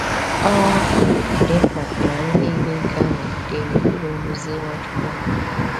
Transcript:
Ọ um dị mkpa na anyị niile ga-anọgide n’okpuru nduzi Nwachukwu.